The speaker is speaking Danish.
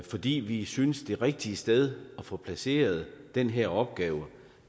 fordi vi synes det rigtige sted at få placeret den her opgave